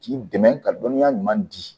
K'i dɛmɛ ka dɔnniya ɲuman di